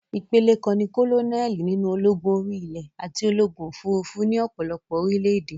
Ìpele kan ní kólónẹ́lì nínú ológun orí-ilè àti ológun òfurufú ní ọ̀pọ̀lọpọ̀ orílẹ̀-èdè.